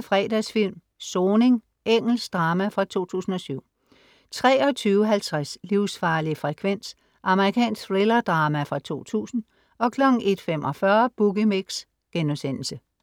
Fredagsfilm: Soning. Engelsk drama fra 2007 23:50 Livsfarlig frekvens. Amerikansk thrillerdrama fra 2000 01:45 Boogie Mix*